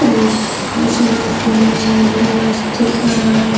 औ वैसे बहुत सुन्नन दअ वस दिख रहा है।